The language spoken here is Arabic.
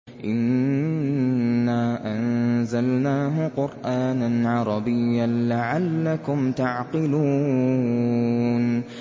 إِنَّا أَنزَلْنَاهُ قُرْآنًا عَرَبِيًّا لَّعَلَّكُمْ تَعْقِلُونَ